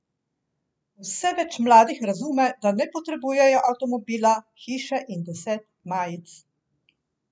Vse več mladih razume, da ne potrebujejo avtomobila, hiše in deset majic.